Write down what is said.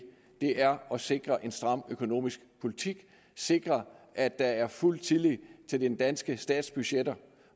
er at sikre en stram økonomisk politik sikre at der er fuld tillid til den danske stats budgetter